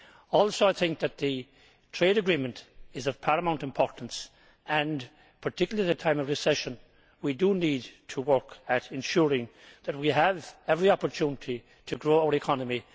Also, I think that the trade agreement is of paramount importance and, particularly at a time of recession, we do need to work at ensuring that we have every opportunity to grow our economy.